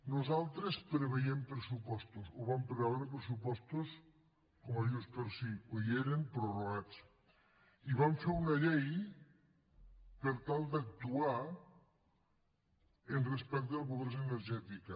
nosaltres prevèiem pressupostos o vam preveure pressupostos com a junts pel sí o hi eren prorrogats i vam fer una llei per tal d’actuar respecte a la pobresa energètica